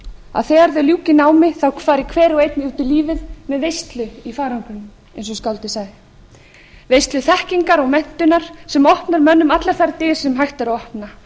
að þegar þau ljúki námi fari hver og einn út í lífið með veislu í farangrinum eins og skáldið sagði veislu þekkingar og menntunar sem opnar mönnum allar þær dyr sem hægt er að opna